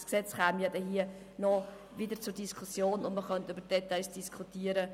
Das Gesetz würde dann wieder hier zur Diskussion kommen, und man könnte über die Details diskutieren.